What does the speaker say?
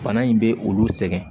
Bana in bɛ olu sɛgɛn